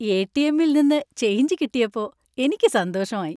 എ.ടി.എം.ൽ നിന്ന് ചേഞ്ച് കിട്ടിയപ്പോ എനിക്ക് സന്തോഷമായി.